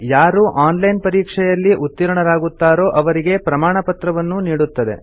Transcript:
ಯಾರು online ಪರೀಕ್ಷೆಯಲ್ಲಿ ಉತ್ತೀರ್ಣರಾಗುತ್ತಾರೋ ಅವರಿಗೆ ಪ್ರಮಾಣಪತ್ರವನ್ನೂ ನೀಡುತ್ತದೆ